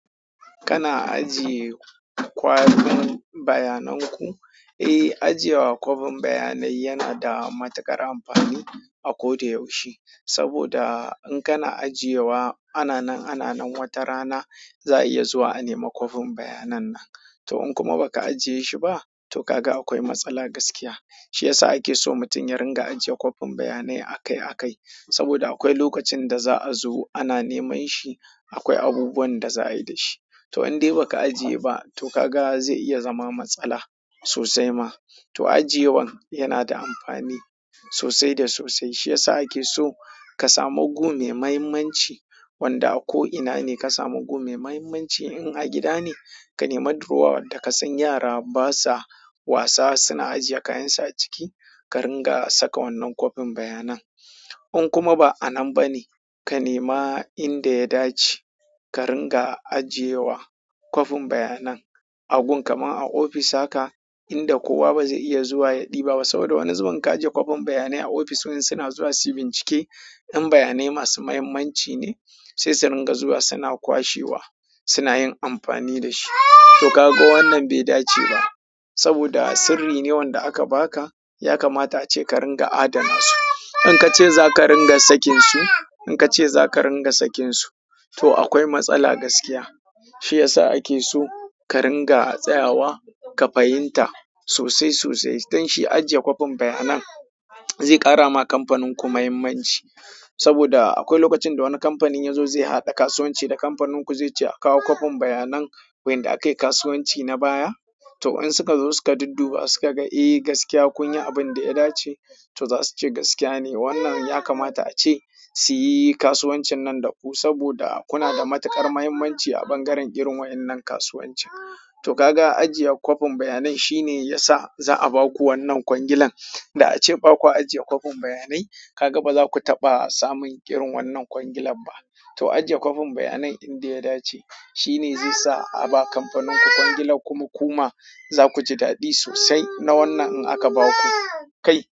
Kana ajiye kwalin bayanan ku? Eh, ajiye wa kwafin bayanai yana da matuƙar amfani a ko da yaushe. Saboda in kana ajiye wa ananan ananan wata rana za a iya zuwa a nema kwafin bayanan naka. To in kuma ba ka ajiye shi ba, to ka ga akwai matsala gaskiya. Shi ya sa ake so mutum yaringa ajiye kwafin bayanai akai akai. Saboda akwai lokacin da za a zo ana neman shi, akwai abubuwan da za a yi da shi. To in dai ba ka ajiye ba to ka ga zai iya zama matsala sosai ma. To ajiyewan yana da amfani sosai da sosai. Shi ya sa ake so ka samu gu mai muhimmanci wanda ko ina ne ka samu gu maimuhimmanci. In a gida ne, ka nema durowa wanda ka san yara basa wasa suna ajiye kayan su a ciki, ka ringa saka wannan kwafin bayanan. In kuma ba a nan ba ne, ka nema inda ya dace ka ringa ajiye wa kwafin bayanan. A gun kamar a ofis haka, inda kowa ba zai iya zuwa ya ɗiba ba. Saboda wani zubin ka ajiye kwafin bayanai a ofis, wai suna zuwa suyi bincike, 'yan bayanai masu muhimmanci ne sai su ringa zuwa suna kwashewa, suna yin amfani da shi. To ka ga wannan bai dace ba. Saboda sirri ne wanda aka baka yakamata ace ka dinga adana shi in ka ce za ka ringa sakin su, in ka ce za ka ringa sakin su, to akwai matsala gaskiya. Shi ya sa ake so ka ringa tsayawa ƙa fahimta sosai sosai. Don shi ajiye kwafin bayanan zai ƙara ma kamfanin ku muhimmanci. Saboda akwai lokacin da wani kamfanin ya zo zai haɗa kasuwanci da kamfanin ku zai ce a kawo kwafin bayanan wanda aka yi kasuwanci na baya. To in suka zo suka dudduba suka ga eh gaskiya kun yi abin da ya dace, to za su ce gaskiya ne wannan ya kamata ace su yi kasuwancin nan da ku. Saboda kuna da matuƙar muhimmanci a ɓangaren irin wa'innan kasuwancin. To ka ga ajiye kwafin bayanan shi ne ya sa za a ba ku wannan kwangilan. Da ace ba kwa ajiye kwafin bayanai, ka ga ba za ku taɓa samun irin wannan kwangilan ba. To ajiye kwafin bayanai inda ya dace shi ne zai sa a ba kamfanin ku kwangilan kuma kuma za ku ji daɗi sosai na wannan in aka ba ku. Kai.